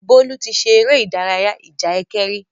Bólú ti ṣe eré ìdarayá ìjà ẹkẹ rí.